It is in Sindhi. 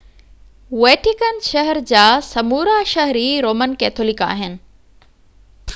ويٽيڪن شهر جا سمورا شهري رومن ڪيٿولڪ آهن